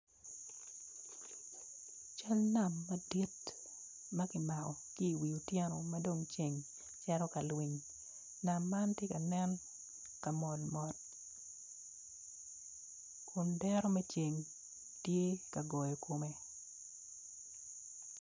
Cal nam madit makimako ki wi otyeno ma dong ceng tyecito ka nam man tye ka nen kamol mol kun dero me ceng tye ka goyo kome.